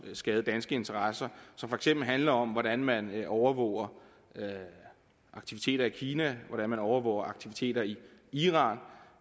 skade danske interesser som for eksempel handler om hvordan man overvåger aktiviteter i kina hvordan man overvåger aktiviteter i iran